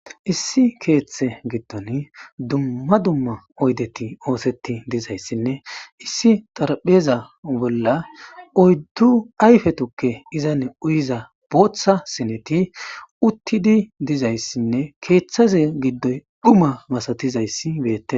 issi keeththe gitton dumma dumma oydeti ooseti dizayssinne issi xarpheza bolla oyddu ayfe tukke izane uyiza booththa sineti uttidi dizayssinne keeththaze giddoy dhuma masatizayssi beette